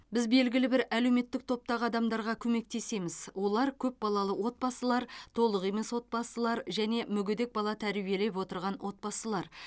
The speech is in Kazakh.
біз белгілі бір әлеуметтік топтағы адамдарға көмектесеміз олар көпбалалы отбасылар толық емес отбасылар және мүгедек бала тәрбиелеп отырған отбасылар